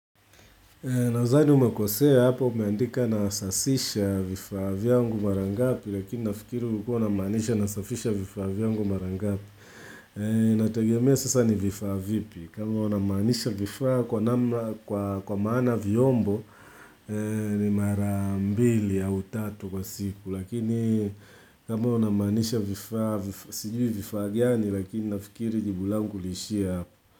Nazani umekosea hapo umeandika nasasisha vifaa vyangu marangapi lakini nafikiri ulikua unamanisha nasafisha vifaa viyangu marangapi. Natagemea sasa ni vifaa vipi. Kama unamaanisha vifaa kwa maana viombo ni marambili au tatu kwa siku. Lakini kama unamaanisha vifaa sijui vifaa gani lakini nafikiri jibu langu liishie hapo.